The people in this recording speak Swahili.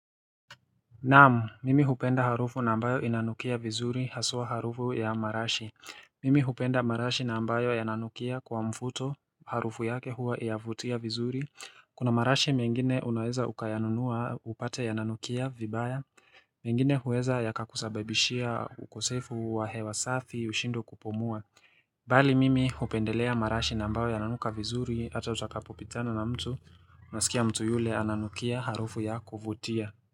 Naam, mimi hupenda harufu na ambayo inanukia vizuri haswa harufu ya marashi. Mimi hupenda marashi na ambayo yananukia kwa mfuto harufu yake huwa yavutia vizuri. Kuna marashi mengine unaweza ukayanunua upate yananukia vibaya. Mengine huweza yaka kusababishia ukosefu wa hewa safi ushindwe kupumua. Bali mimi hupendelea marashi na ambayo yananuka vizuri hata utakapopitana na mtu unasikia mtu yule ananukia harufu ya kuvutia.